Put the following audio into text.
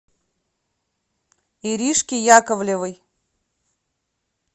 иришки яковлевой